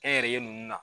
Kɛnyɛrɛye ninnu na